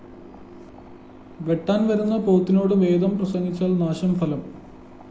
വെട്ടാന്‍ വരുന്ന പോത്തിനോട്‌ വേദം പ്രസംഗിച്ചാല്‍ നാശം ഫലം